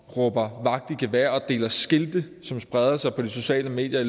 råber vagt i gevær og deler skilte som spreder sig på de sociale medier i